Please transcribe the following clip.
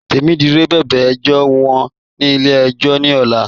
Temídíré yọọ bẹ̀bẹ̀ ẹjọ̀ wọn ní ilẹ̀-ẹ̀jọ̀ ní òlà